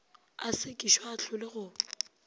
a sekišwe a ahlolwe go